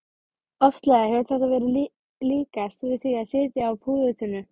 Oftlega hefur þetta verið líkast því að sitja á púðurtunnu.